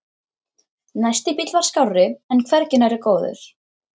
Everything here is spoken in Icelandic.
Næsti bíll var skárri en hvergi nærri góður.